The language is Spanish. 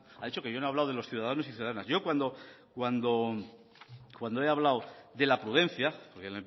me ha dicho que no he hablado de los ciudadanos y ciudadanas yo cuando he hablado de la prudencia porque en